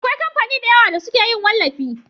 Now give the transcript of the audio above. Akwai kamfani da yawa da suke yin wallafi